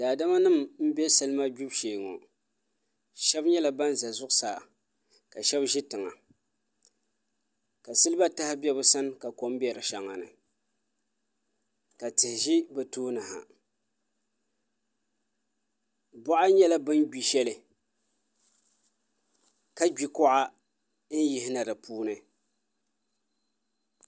Daadama nim n bɛ salima gbibu shee ŋo shab nyɛla ban ʒɛ zuɣusaa ka shab ʒi tiŋa ka silba taha bɛ bi sani ka kom bɛ di shɛŋa ni ka tihi ʒi bi tooni ha boɣa nyɛla bin gbi shɛli ka gbi kuɣa n yihina di puuni